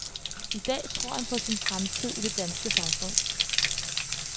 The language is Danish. I dag tror han på sin fremtid i det danske samfund.